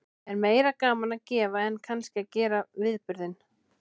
Er meira gaman að gefa en að kannski að gera viðburðinn?